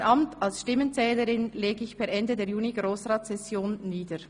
Mein Amt als Stimmenzählerin ich per Ende der JuniGrossratssession nieder.